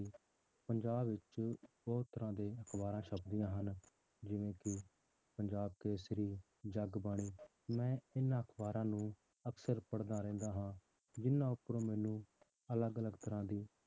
ਪੰਜਾਬ ਵਿੱਚ ਬਹੁਤ ਤਰ੍ਹਾਂ ਦੇ ਅਖ਼ਬਾਰਾਂ ਛੱਪਦੀਆਂ ਹਨ ਜਿਵੇਂ ਕਿ ਪੰਜਾਬ ਕੇਸ਼ਰੀ, ਜਗਬਾਣੀ ਮੈਂ ਇਹਨਾਂ ਅਖ਼ਬਾਰਾਂ ਨੂੰ ਅਕਸਰ ਪੜ੍ਹਦਾ ਰਹਿੰਦਾ ਹਾਂ ਜਿੰਨਾਂ ਉੱਪਰੋਂ ਮੈਨੂੰ ਅਲੱਗ ਅਲੱਗ ਤਰ੍ਹਾਂ ਦੀ